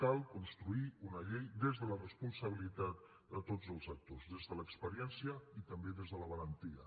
cal construir una llei des de la responsabilitat de tots els actors des de l’experiència i també des de la valentia